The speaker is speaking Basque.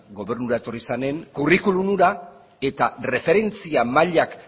gobernura zenean kurrikulum hura eta erreferentzi mailak